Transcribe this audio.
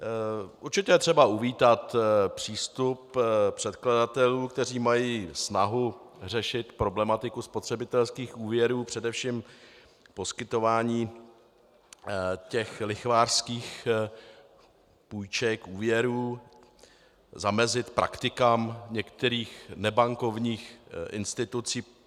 Určitě je třeba uvítat přístup předkladatelů, kteří mají snahu řešit problematiku spotřebitelských úvěrů, především poskytování těch lichvářských půjček, úvěrů, zamezit praktikám některých nebankovních institucí.